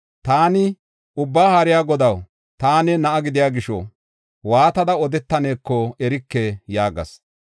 Taani, “Ubbaa Haariya Godaw, taani na7a gidiya gisho waatada odetaneko erike” yaagas.